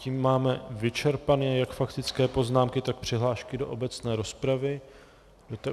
Tím máme vyčerpané jak faktické poznámky, tak přihlášky do obecné rozpravy.